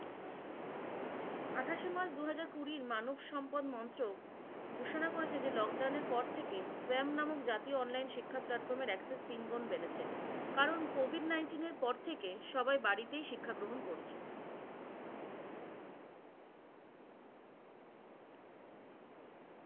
আঠাশে মার্চ দুহাজার কুড়ি মানবসম্পদ মন্ত্র ঘোষণা করেছে যে লোকডাউনের পর থেকে নামক জাতীয় online শিক্ষা platform এর একশো তিনগুন বেড়েছে। কারণ, COVID-19 এর পর থেকে সবাই বাড়িতেই শিক্ষা গ্রহণ করছে।